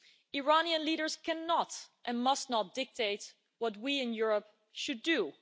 Iranian leaders cannot and must not dictate what we in Europe should do.